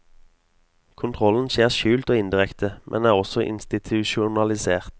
Kontrollen skjer skjult og indirekte, men er også institusjonalisert.